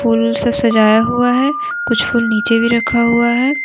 फूल से सजाया हुआ है और कुछ फूल नीचे भी रखा हुआ है।